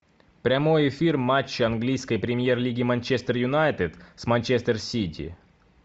прямой эфир матча английской премьер лиги манчестер юнайтед с манчестер сити